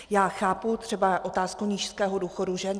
Já chápu třeba otázku nízkého důchodu žen.